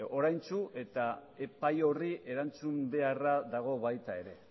oraintsu eta epai horri erantzun beharra dago baita ere